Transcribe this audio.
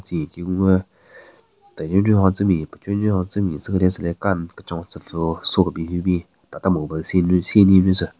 Tsü nyeki gun gü tenunyu hon tse me pechunyu hon tse me tse kethyu tsü le kan kechon tsü pvüo so kebin hyu bin tata mobile sinyu seninyu tsü.